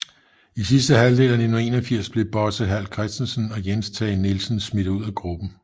I sidste halvdel af 1981 blev Bosse Hall Christensen og Jens Tage Nielsen smidt ud af gruppen